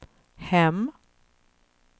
hem